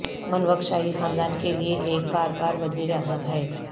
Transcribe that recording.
منوگ شاہی خاندان کے لئے ایک بار بار وزیراعظم ہے